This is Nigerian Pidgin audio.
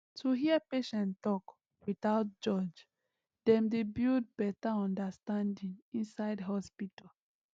to hear patient talk without judge dem dey build better understanding inside hospital